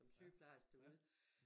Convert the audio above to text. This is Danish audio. Som sygeplejerske derude